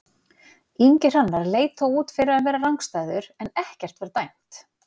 Ingi Hrannar leit þó út fyrir að vera rangstæður en ekkert var dæmt.